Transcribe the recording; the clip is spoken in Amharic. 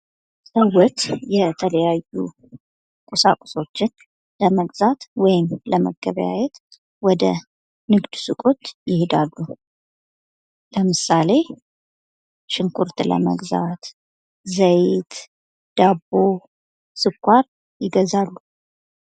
ሰዎች የተለያዩ ቁሳቁሶችን ለመግዛት ወይም ለመገበያየት ወደ ንግድ ሱቆች ይሄዳሉ ። ለምሳሌ ፦ ሽንኩርት ለመግዛት ፣ ዘይት ፣ ዳቦ ፣ ስኳር ይገዛሉ ።